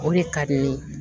O de ka di n ye